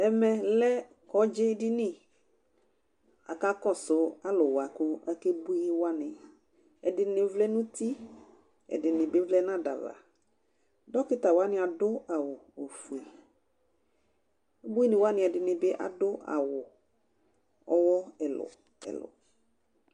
ɛmɛ lɛ kɔdzi dini aka kɔsu alowa kò akebui wani ɛdini vlɛ no uti ɛdini bi vlɛ no ada ava dɔkta wani ado awu ofue ubuini wani ɛdini bi ado awu ɔwɔ ɛlò ɛlò